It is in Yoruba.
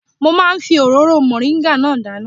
Mo máa ń fi òróró mọ̀ríńgà náà dáná